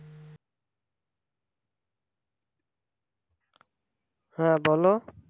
হ্যাঁ বলো